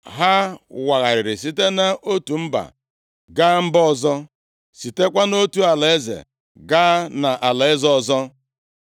Ha wagharịrị site nʼotu mba gaa mba ọzọ, sitekwa nʼotu alaeze gaa na alaeze ọzọ.